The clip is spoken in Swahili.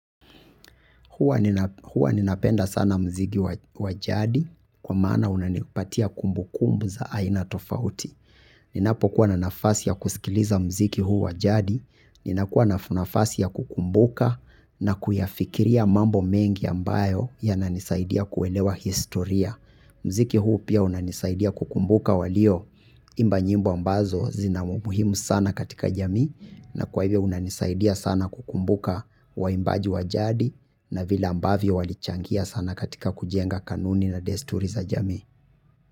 Huwa ninapenda sana muziki wa jadi kwa maana unanipatia kumbu kumbu za aina tofauti. Ninapo kuwa na nafasi ya kusikiliza mziki huu wa jadi, ninakuwa na nafasi ya kukumbuka na kuyafikiria mambo mengi ambayo ya nanisaidia kuelewa historia. Muziki huu pia unanisaidia kukumbuka walioimba nyimbo ambazo zina umuhimu sana katika jamii na kwa hivyo unanisaidia sana kukumbuka waimbaji wa jadi na vile ambavyo walichangia sana katika kujenga kanuni na desturi za jamii.